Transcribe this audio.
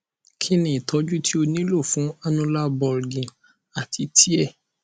kini itọju ti o nilo fun annular bulging ati tear